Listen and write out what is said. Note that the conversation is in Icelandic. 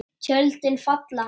Tjöldin falla.